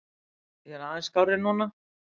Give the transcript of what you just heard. Ég er aðeins skárri núna.